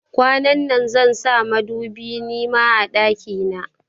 Kwanan nan zansa madubi nima a banɗaki na.